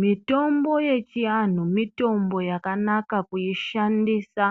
Mitombo yechiantu yakanaka kuishandisa